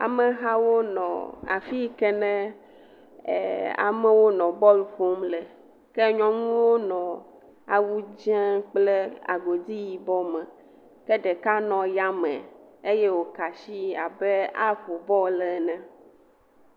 Amehawo nɔ afi yi ke nee ɛɛ amewo nɔ bɔlu ƒom le. Ke nyɔnuwo nɔɔ awu dzẽ kple agodi yibɔ me. Ke ɖeka nɔ yame eye wòka ashi abe aƒo bɔlu ene.